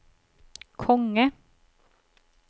konge